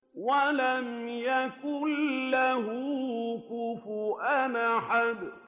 وَلَمْ يَكُن لَّهُ كُفُوًا أَحَدٌ